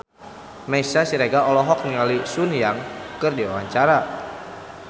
Meisya Siregar olohok ningali Sun Yang keur diwawancara